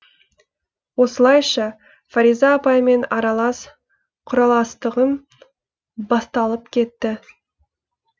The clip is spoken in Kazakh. осылайша фариза апаймен аралас құраластығым басталып кетті